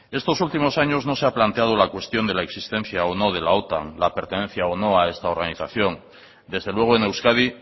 estos últimos años no se ha planteado la cuestión de la existencia o no de la otan la pertenencia o no a esta organización desde luego en euskadi